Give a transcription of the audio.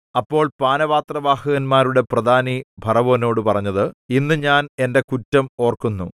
അപ്പോൾ പാനപാത്രവാഹകന്മാരുടെ പ്രധാനി ഫറവോനോട് പറഞ്ഞത് ഇന്ന് ഞാൻ എന്റെ കുറ്റം ഓർക്കുന്നു